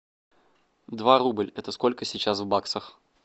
два рубль это сколько сейчас в баксах